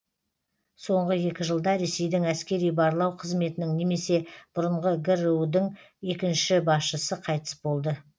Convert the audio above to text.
соңғы екі жылда ресейдің әскери барлау қызметінің немесе бұрынғы гру дің екінші басшысы қайтыс болды